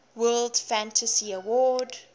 world fantasy award